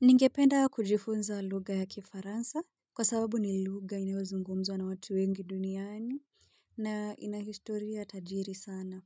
Ningependa kujifunza lugha ya kifaransa kwa sababu ni lugha inayozungumzwa na watu wengi duniani. Na ina hishtoria tajiri sana,